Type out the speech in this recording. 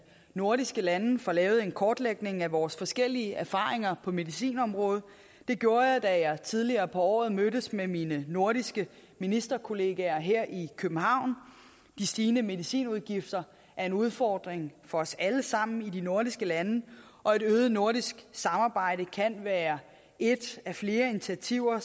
nordiske lande får lavet en kortlægning af vores forskellige erfaringer på medicinområdet det gjorde jeg da jeg tidligere på året mødtes med mine nordiske ministerkollegaer her i københavn de stigende medicinudgifter er en udfordring for os alle sammen i de nordiske lande og et øget nordisk samarbejde kan være et af flere initiativer